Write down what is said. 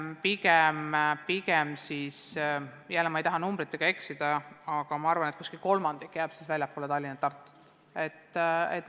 Ma ei taha numbritega eksida, aga arvan, et umbes kolmandik jääb siis väljapoole Tallinna ja Tartut.